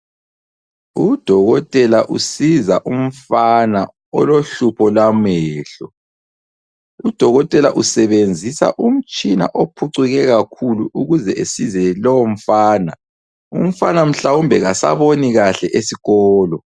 Udokotela usiza umfana olohlupho lwamehlo. Udokotela usebenzisa umtshina ophucuke kakhulu ukuze esize lomfana, umfana mhlawumbe kasaboni kahle esikolo.